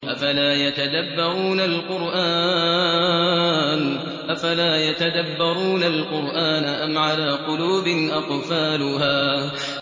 أَفَلَا يَتَدَبَّرُونَ الْقُرْآنَ أَمْ عَلَىٰ قُلُوبٍ أَقْفَالُهَا